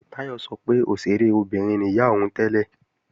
Táyọ̀ sọ pé òṣèré obìnrin ni ìyá òun tẹ́lẹ̀